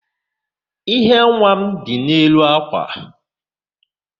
íhé nwa m dị n'elu àkwà.